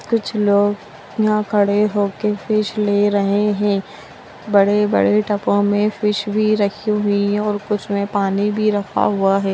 कुछ लोग यहाँ खड़े होके फिश ले रहे हैं बड़े-बड़े टबों में फिश भी रखी हुई है और कुछ में पानी भी रखा हुआ है।